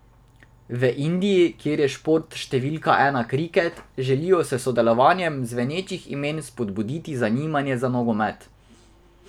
V Indiji, kjer je šport številka ena kriket, želijo s sodelovanjem zvenečih imen spodbuditi zanimanje za nogomet.